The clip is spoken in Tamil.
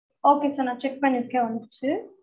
okay sir நா check பண்ணிருக்கேன் வந்துருச்சு